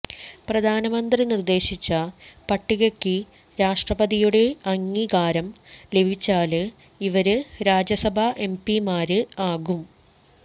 പ്രധാനമന്ത്രി നിര്ദേശിച്ച പട്ടികയ്ക്ക് രാഷ്ട്രപതിയുടെ അംഗീകാരം ലഭിച്ചാല് ഇവര് രാജ്യസഭാ എംപിമാര് ആകും